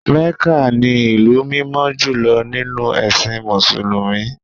Mecca ni ìlú mímọ́ jùlọ nínú ẹ̀sìn Mùsùlùmí.